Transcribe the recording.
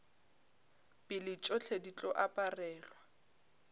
pele tšohle di tlo aparelwa